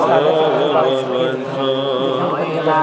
कागज रखल बाड़े सफ़ेद ख। देखे में दुकनिया बढ़िया --